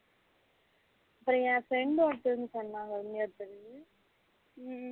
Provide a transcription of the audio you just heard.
இப்போ என் friend ஒருதங்க சொன்னாங்க இன்னொருத்தர்